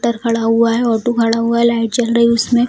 टर खड़ा हुआ है ऑटो खड़ा हुआ है लाइट जल रही है उसमे |